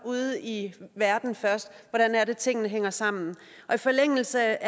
ude i verden først hvordan det er at tingene hænger sammen og i forlængelse